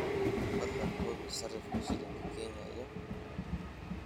fadlan hubi sarifka shilinka kenya iyo euro